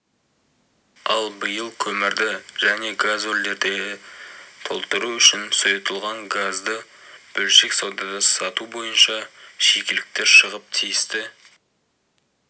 ал биыл көмірді және газгольдерді толтыру үшін сұйытылған газды бөлшек саудада сату бойынша шикіліктер шығып тиісті